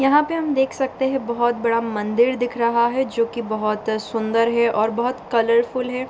यहाँ पे हम देख सकते हैं बहोत बड़ा मंदिर दिख रहा है जो की बहोत सुन्दर हैं और बहोत कलरफुल है।